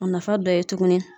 A nafa dɔ ye tuguni.